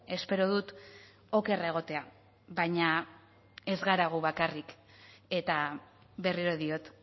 espero dut oker egotea baina ez gara gu bakarrik eta berriro diot